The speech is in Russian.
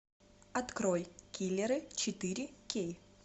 открой киллеры четыре кей